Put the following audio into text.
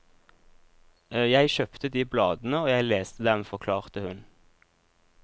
Jeg kjøpte de bladene og jeg leste dem, forklarte hun.